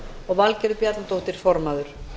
og valgerður bjarnadóttir formaður